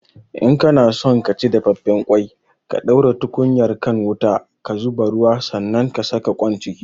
In kana son ka ci dafaffen ƙwai ka ɗaura tukunyar kan wuta, ka zuba ruwa sanan ka saka ƙoin ciki